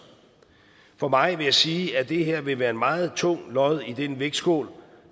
for mig vil jeg sige at det her vil være et meget tungt lod i den vægtskål